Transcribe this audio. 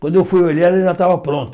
Quando eu fui olhar, ela já estava pronta.